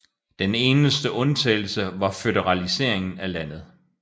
Den eneste undtagelse var føderaliseringen af landet